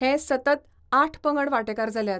हे सतत आठ पंगड वांटेकार जाल्यात.